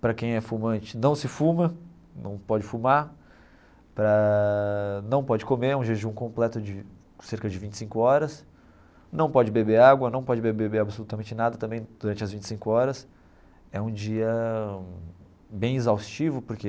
Para quem é fumante, não se fuma, não pode fumar, para não pode comer, é um jejum completo de cerca de vinte e cinco horas, não pode beber água, não pode beber absolutamente nada também durante as vinte e cinco horas, é um dia bem exaustivo porque